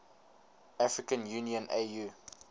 african union au